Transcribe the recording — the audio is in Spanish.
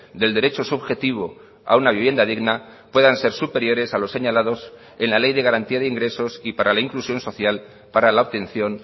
del derecho subjetivo a una vivienda digna puedan ser superiores a los señalados en la ley de garantía de ingresos y para la inclusión social para la obtención